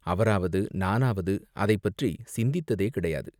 அவராவது, நானாவது அதைப் பற்றிச் சிந்தித்ததே கிடையாது.